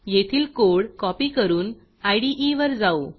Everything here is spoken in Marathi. येथील कोड कॉपी करून इदे वर जाऊ